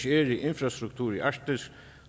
i infrastruktur i arktis